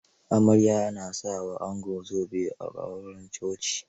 Amarya na sa wa ango zobe a auren coci.